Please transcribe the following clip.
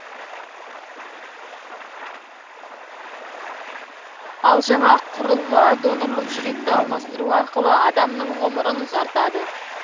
ал жаңа құрылғы донорлық жүректі алмастыру арқылы адамның ғұмырын ұзартады